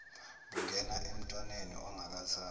bungena emntwaneni ongakazalwa